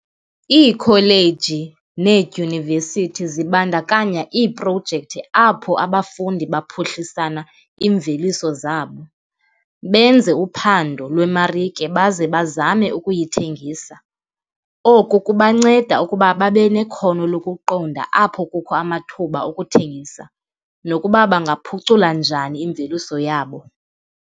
Iikholeji needyunivesithi zibandakanya iiprojekthi apho abafundi baphuhlisana iimveliso zabo, benze uphando lwemarike baze bazame ukuyithengisa. Oku kubanceda ukuba babe nekhono lokuqonda apho kukho amathuba okuthengisa nokuba bangaphucula njani imveliso yabo.